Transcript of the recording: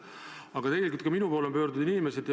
Aga ka minu poole on inimesed pöördunud.